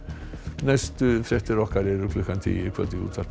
næstu fréttir okkar eru klukkan tíu í kvöld í útvarpinu